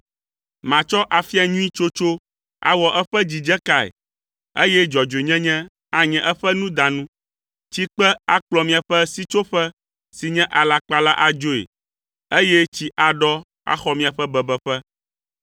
Matsɔ afia nyui tsotso awɔ eƒe dzidzekae, eye dzɔdzɔenyenye anye eƒe nudanu, tsikpe akplɔ miaƒe sitsoƒe si nye alakpa la adzoe, eye tsi aɖɔ axɔ miaƒe bebeƒe.